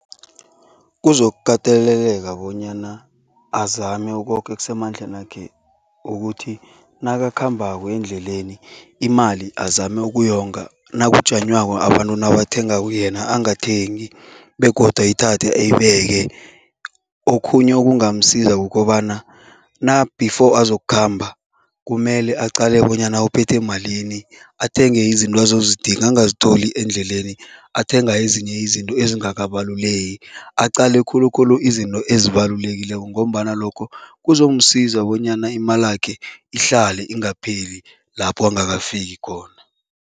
Kuzokukateleleka bonyana azame koke okusemandlenakhe ukuthi nakakhambako endleleni, imali azame ukuyonga. Nakujanywako, abantu nabathengako yena angathengi begodu ayithathe uyibeke. Okhunye okungamsiza kukobana na before azokukhamba, kumele aqale bonyana uphethe malini, athenge izinto azozidinga, angazitholi endleleni athenga ezinye izinto ezingakabaluleki, aqale khulukhulu izinto ezibalulekileko ngombana lokho kuzomsiza bonyana imalakhe ihlale ingapheli lapho angakafiki khona.